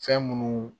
Fɛn munnu